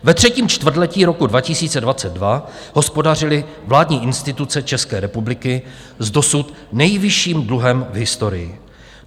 Ve třetím čtvrtletí roku 2022 hospodařily vládní instituce České republiky s dosud nejvyšším dluhem v historii.